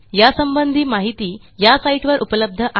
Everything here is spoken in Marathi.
यासंबंधी माहिती या साईटवर उपलब्ध आहे